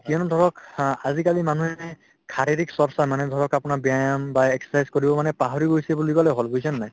কিয়নো ধৰক আহ্ আজিকালি মানুহে যি শাৰীৰিক চৰ্চা মানে ধৰক আপোনাৰ ব্যায়াম বা exercise কৰিব মানুহে পাহৰি গৈছে বুলি কলে হল বুজিছানে নাই ?